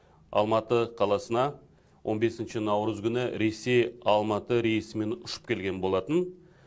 алматы қаласына он бесінші наурыз күні ресей алматы рейсімен ұшып келген болатын